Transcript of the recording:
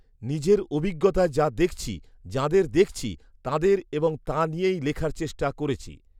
নিজের অভিজ্ঞতায় যা দেখছি, যাঁদের দেখছি, তাঁদের এবং তা নিয়েই লেখার চেষ্টা করেছি